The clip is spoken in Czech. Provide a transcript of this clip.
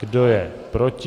Kdo je proti?